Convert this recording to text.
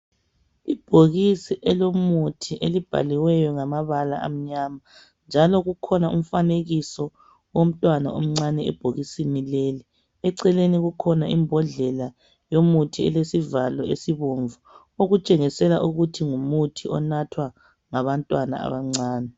Ibhokisi elomuthi elibhaliweyo ngamabala amnyama njalo kukhona umfanekiso womntwana omncane ebhokisini leli. Eceleni kukhona imbodlela yomuthi elesivalo esibomvu okutshengisela ukuthi ngumuthi onathwa ngabantwana abancane.